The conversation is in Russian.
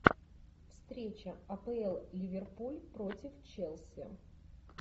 встреча апл ливерпуль против челси